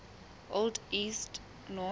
old east norse